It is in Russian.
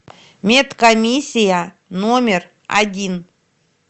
медкомиссия номер один